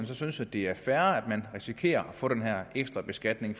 så synes at det er fair at man risikerer at få den her ekstra beskatning